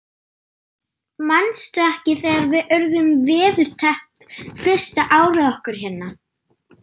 Manstu ekki þegar við urðum veðurteppt fyrsta árið okkar hérna?